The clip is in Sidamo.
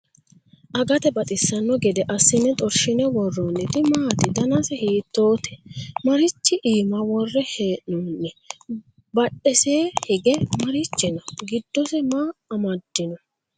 agate baxisanno gede assine xorshine worroonniti maati? danase hiittoote? marichi iima worre hee'noonni? badhesee i hige marichi no? giddose maa amaddino?